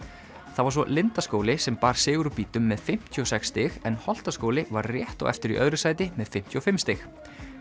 það var svo Lindaskóli sem bar sigur úr bítum með fimmtíu og sex stig en Holtaskóli var rétt á eftir í öðru sæti með fimmtíu og fimm stig